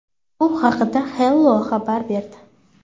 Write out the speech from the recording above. Bu haqida Hello xabar berdi .